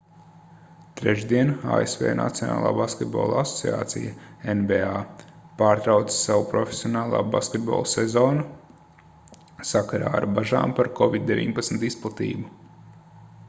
trešdien asv nacionālā basketbola asociācija nba pārtrauca savu profesionālā basketbola sezonu sakarā ar bažām par covid-19 izplatību